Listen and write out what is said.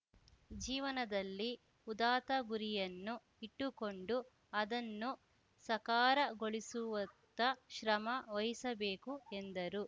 ಜೀವನದಲ್ಲಿ ಉದಾತ್ತ ಗುರಿಯನ್ನು ಇಟ್ಟುಕೊಂಡು ಅದನ್ನು ಸಕಾರಗೊಳಿಸುವತ್ತ ಶ್ರಮ ವಹಿಸಬೇಕು ಎಂದರು